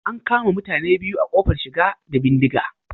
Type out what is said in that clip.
An kama mutane biyu a kofar shiga da bindiga